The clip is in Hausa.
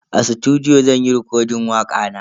A sutudiyo zan yi rekodin wakana.